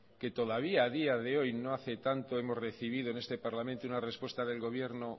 que todavía a día de hoy no hace tanto hemos recibido en este parlamento una respuesta del gobierno